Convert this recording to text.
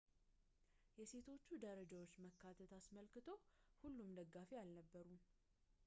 የሴቶቹ ደረጃዎች መካተት አስመልክቶ ሁሉም ደጋፊ አልነበሩም